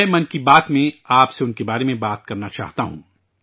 میں ' من کی بات ' میں ، آپ سے ان کے بارے میں ذکر کرنا چاہتا ہوں